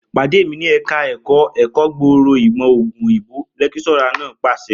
Pàdé mi ní ẹ̀ka ẹ̀kọ́ ẹ̀kọ́ gbòòrò ìmọ̀ ògùn òyìnbó!', lẹ́kíṣọ́rà náà pàṣẹ